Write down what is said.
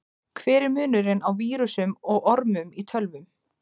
Hver er munurinn á vírusum og ormum í tölvum?